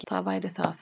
Það væri það